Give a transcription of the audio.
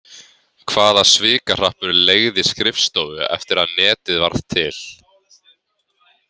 Hvaða svikahrappur leigði skrifstofu eftir að netið varð til?